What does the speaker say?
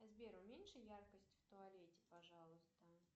сбер уменьши яркость в туалете пожалуйста